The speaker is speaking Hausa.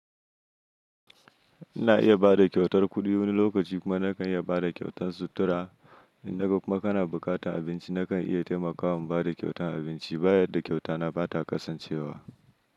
Ina iya ba da kyautar kuɗi wani lokaci kuma nakan iya ba da kyautan sutura. In da kuma kana buƙatar abinci nakan iya taimaka wa ba da kyautan abinci. Bayar da kyautana ba ta kasancewa.